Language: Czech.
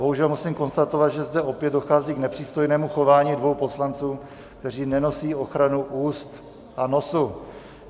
Bohužel musím konstatovat, že zde opět dochází k nepřístojnému chování dvou poslanců, kteří nenosí ochranu úst a nosu.